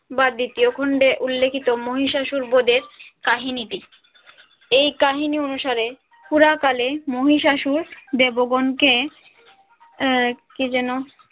বা দ্বিতীয় খণ্ডে উল্লেখিত মহিষাসুর বদের কাহিনীটি এই কাহিনী অনুসারে পুরা কালে মহিষাসুর দেবগণকে আহ কি যেন